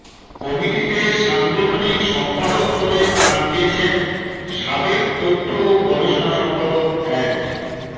কমিটিতে সাংগঠনিক সম্পাদক পদে স্থান পেয়েছেন সাবেক তথ্য ও গবেষণা সম্পাদক অ্যাড